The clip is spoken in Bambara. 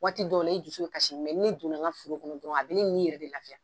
Waati dɔw i dusu be kasi. ni ne donna n ka foro kɔnɔ dɔrɔn a be ne ni yɛrɛ de lafiya.